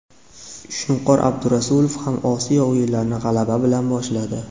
Shunqor Abdurasulov ham Osiyo o‘yinlarini g‘alaba bilan boshladi.